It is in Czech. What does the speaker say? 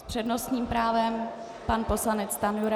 S přednostním právem pan poslanec Stanjura.